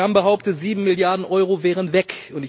Sie haben behauptet, sieben Milliarden Euro wären weg.